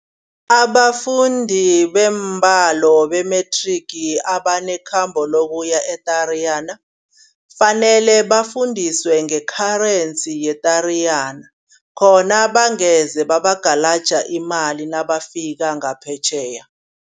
Abafundi beembalo be-matric abanekhambo lokuya eTariyana kufanele bafundiswe nge-currency yeTariyana. Khona bangeze babagalaja imali nabafika ngaphetjheya.